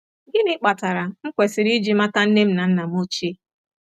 Gịnị Kpatara M kwesịrị iji mata Nne m na Nna m Ochie? ”